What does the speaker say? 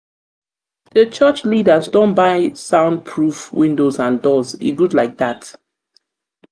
di church leaders don buy sound proof windows and doors e good like dat.